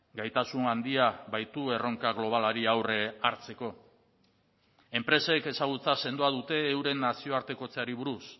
gaitasun handia baitu erronka globalari aurre hartzeko enpresek ezagutza sendoa dute euren nazioartekotzeari buruz